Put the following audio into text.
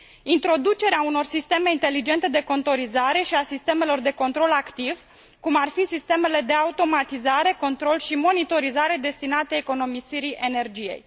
Introducerea unor sisteme inteligente de contorizare și a sistemelor de control activ cum ar fi sistemele de automatizare, control și monitorizare destinate economisirii energiei.